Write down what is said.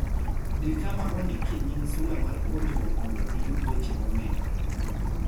Di kama ondikie nying sula mar puonjruok mondo iyud weche momedore.